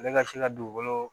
Ale ka se ka dugukolo